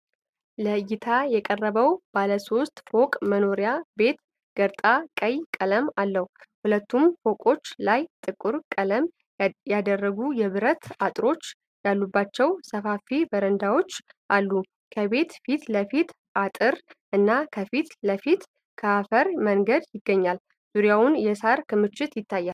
ለእይታ የቀረበው ባለ ሶስት ፎቅ መኖሪያ ቤት ገረጣ ቀይ ቀለም አለው። ሁለቱም ፎቆች ላይ ጥቁር ቀለም ያደረጉ የብረት አጥሮች ያሉባቸው ሰፋፊ በረንዳዎች አሉ። ከቤቱ ፊት ለፊት አጥር እና ከፊት ለፊት የአፈር መንገድ ይገኛል። ዙሪያውን የሳር ክምችት ይታያል።